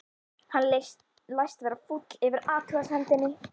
Hann læst vera fúll yfir athugasemdinni.